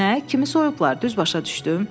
Nə, kimi soyublar, düz başa düşdüm?